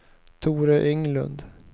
Tore Englund